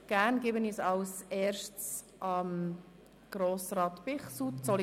Gerne gebe ich das Wort Grossrat Bichsel.